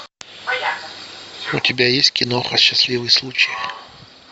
у тебя есть киноха счастливый случай